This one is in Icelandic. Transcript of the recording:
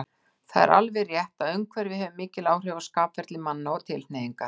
Það er alveg rétt, að umhverfi hefir mikil áhrif á skapferli manna og tilhneigingar.